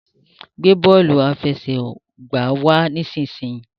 gbé bóòlù àfẹsẹ̀gbá wá nísìsiyìí!